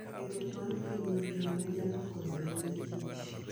Riwruok mar piny mangima nyalo konyo ahinya kich.